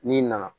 N'i nana